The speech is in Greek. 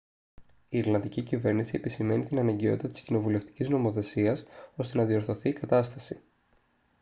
η ιρλανδική κυβέρνηση επισημαίνει την αναγκαιότητα της κοινοβουλευτικής νομοθεσίας ώστε να διορθωθεί η κατάσταση